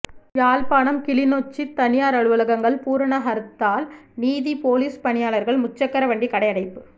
யாழ்ப்பாணம் கிளிநொச்சி தனியார் அலுவலகங்கள் பூரண ஹர்தால் நீதி பொலிஸ் பணியாளர்கள் முச்சக்கர வண்டி கடையடைப்பு